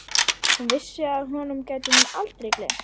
Og hún vissi að honum gæti hún aldrei gleymt.